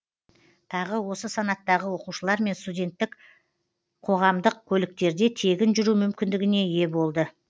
тағы осы санаттағы оқушылар мен студенттер қоғамдық көліктерде тегін жүру мүмкіндігіне ие болды